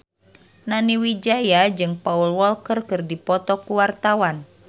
Nani Wijaya jeung Paul Walker keur dipoto ku wartawan